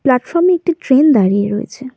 Platform -এ একটি train দাঁড়িয়ে রয়েছে।